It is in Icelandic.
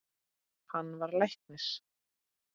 Hann varð læknir.